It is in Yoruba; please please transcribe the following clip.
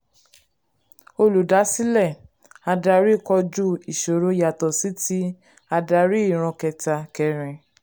olùdásílẹ̀ adarí kojú ìṣòro yàtọ̀ sí ti adarí ìran kẹta kẹrin.